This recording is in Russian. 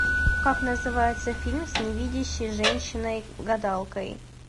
как называется фильм с невидящей женщиной гадалкой